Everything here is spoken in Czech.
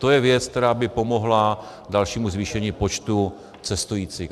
To je věc, která by pomohla dalšímu zvýšení počtu cestujících.